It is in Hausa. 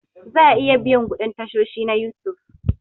Za a iya biyan kuɗin tashoshi na You Tube